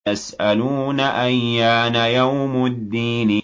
يَسْأَلُونَ أَيَّانَ يَوْمُ الدِّينِ